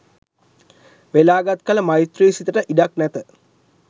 වෙලාගත් කළ මෛත්‍රි සිතට ඉඩක් නැත.